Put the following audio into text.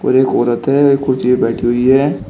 और एक औरत है एक कुर्सी पे बैठी हुई है।